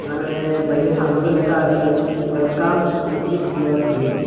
বাইরে সাইনবোর্ডে লেখা আছে ওয়েলকাম ইওর ড্রিম ।